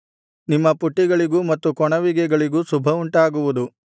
ನಿಮ್ಮ ಪುಟ್ಟಿಗಳಿಗೂ ಮತ್ತು ಕೊಣವಿಗೆಗಳಿಗೂ ಶುಭವುಂಟಾಗುವುದು